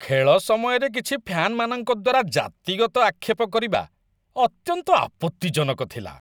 ଖେଳ ସମୟରେ କିଛି ଫ୍ୟାନମାନଙ୍କ ଦ୍ୱାରା ଜାତିଗତ ଆକ୍ଷେପ କରିବା ଅତ୍ୟନ୍ତ ଆପତ୍ତିଜନକ ଥିଲା।